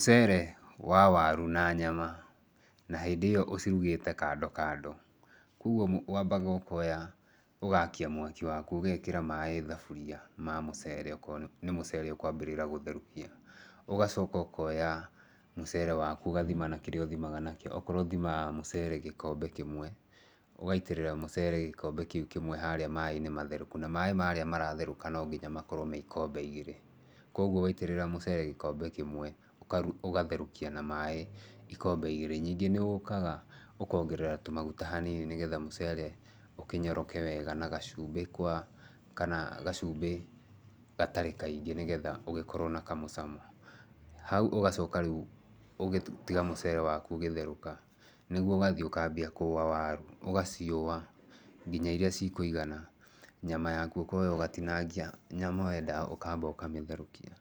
Mũcere wa waru na nyama, na hĩndĩ ĩyo ũcirugĩte kando kando. Kwoguo wambaga ũkoya ũgakia mwaki waku, ũgekĩra maaĩ thaburia ma mũcere okorwo nĩ mũcere ũkwambĩrĩra gũtherũkia. Ũgacoka ũkoya mũcere waku ũgathima na kĩrĩa ũthimaga nakĩo. Okorwo ũthimaga mũcere gĩkombe kĩmwe, ũgaitĩrĩra mũcere gĩkombe kĩu kĩmwe harĩa maaĩ-inĩ matherũku. Na maaĩ marĩa maratherũka no nginya makorwo me ikombe igĩrĩ. Kwoguo waitĩrĩra mũcere gĩkombe kĩmwe, ũgatherũkia na maaĩ ikombe igĩrĩ. Nyingĩ nĩ ũkaga ũkongerera tũmaguta hanini nĩgetha mũcere ũkĩnyoroke wega, na gacumbĩ kwa, kana gacumbĩ gatarĩ kaingĩ nĩgetha ũgĩkorwo na kamũcamo. Hau ũgacoka rĩu ũgĩtiga mũcere waku ũgĩtherũka, nĩguo ũgathiĩ ũkambia kũũa waru. Ũgaciũa nginya irĩa cikũigana. Nyama yaku ũkoya ũgatinangia nyama wenda ũkamba ũkamĩtherũkia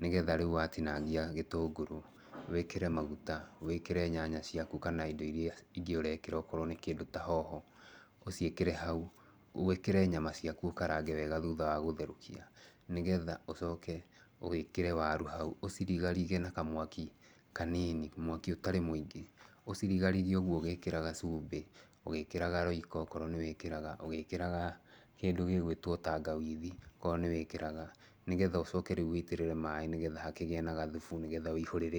nĩgetha rĩu watinangia gĩtũngũrũ, wĩkĩre maguta, wĩkĩre nyanya ciaku kana indo irĩa ingĩ ũrekĩra okorwo nĩ kĩndũ ta hoho, ũciĩkĩre hau. Wĩkĩre nyama ciaku ũkarange wega thutha wa gũtherũkia. Nĩgetha ũcoke wĩkĩre waru hau. Ũcirigarige na kamwaki kanini, mwaki ũtarĩ mũingĩ. Ũcirigarige ũguo ũgekĩra gacumbĩ, ũgĩkĩraga royco okorwo nĩ wĩkĩraga. Ũgĩkĩraga kĩndũ gĩgũĩtwo tangawithi okorwo nĩ wĩkĩraga. Nĩgetha ũcoke rĩu wĩitĩrĩre maaĩ nĩgetha hakĩgĩe na gathubu nĩgetha wĩihũrĩre andũ.